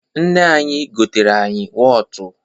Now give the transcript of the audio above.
Nne anyị goteere anyị wọtụ.